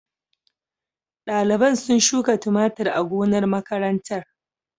Daliban sun shuka tumatur a gonar makarantar.